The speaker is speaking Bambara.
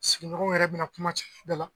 Sigiɲɔgɔnw yɛrɛ bɛ na kuma caya ne da la